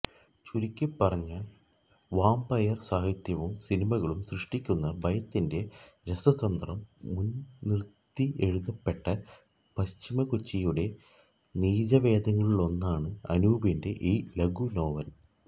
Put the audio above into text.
ചുരുക്കിപ്പറഞ്ഞാൽ വാംപയർ സാഹിത്യവും സിനിമകളും സൃഷ്ടിക്കുന്ന ഭയത്തിന്റെ രസതന്ത്രം മുൻനിർത്തിയെഴുതപ്പെട്ട പശ്ചിമകൊച്ചിയുടെ നീചവേദങ്ങളിലൊന്നാണ് അനൂപിന്റെ ഈ ലഘുനോവൽ